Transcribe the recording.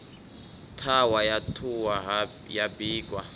ṱhahwa ya ṱhuhwa ya bikwa